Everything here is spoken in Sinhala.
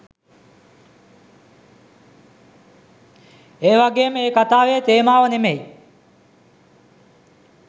ඒවගේම ඒ කථාවේ තේමාව නෙමෙයි